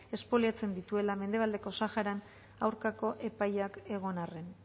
espoliatzen dituela mendebaldeko saharan aurkako epaiak egon arren